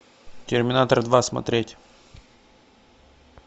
терминатор два смотреть